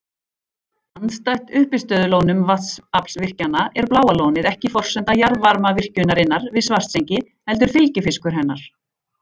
Andstætt uppistöðulónum vatnsaflsvirkjana er Bláa lónið ekki forsenda jarðvarmavirkjunarinnar við Svartsengi heldur fylgifiskur hennar.